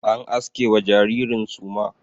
An aske wa jaririn suma.